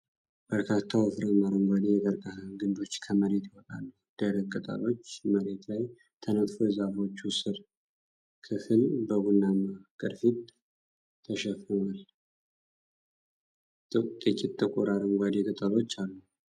በርካታ ወፍራም፣ አረንጓዴ የቀርከሃ ግንዶች ከመሬት ይወጣሉ። ደረቅ ቅጠሎች መሬት ላይ ተነጥፈው የዛፎቹ ሥር ክፍል በቡናማ ቅርፊት ተሸፍኗል። ጥቂት ጥቁር አረንጓዴ ቅጠሎች አሉ።